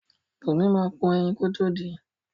Bùnmi máa po ẹyin kótó din.